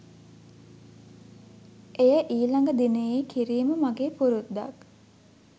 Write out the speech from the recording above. එය ඊළඟ දිනයේ කිරීම මගේ පුරුද්දක්.